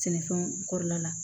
Sɛnɛfɛnw kɔrɔ la la